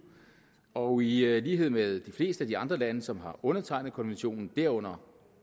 og i lighed med de fleste andre lande som har undertegnet konventionen derunder